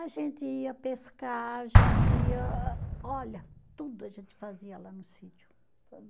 A gente ia pescar, a gente ia ah, olha, tudo a gente fazia lá no sítio.